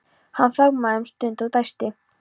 Hann þagnaði um stund og dæsti.